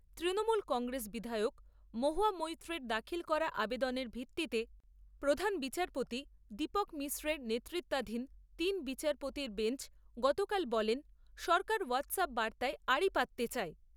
তৃণমূল কংগ্রেস বিধায়ক মহুয়া মৈত্রের দাখিল করা আবেদনের ভিত্তিতে, প্রধান বিচারপতি দীপক মিশ্রের নেতৃত্বাধীন তিন বিচারপতির বেঞ্চ গতকাল বলেন সরকার হোয়াটস য়্যাপ বার্তায় আড়ি পাততে চায়।